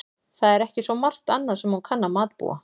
Það er ekki svo margt annað sem hún kann að matbúa.